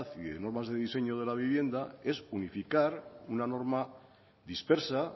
y normas de diseño de la vivienda es unificar una norma dispersa